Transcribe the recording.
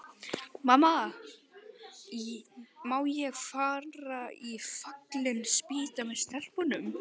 Mamma, má ég fara í Fallin spýta með stelpunum?